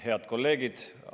Head kolleegid!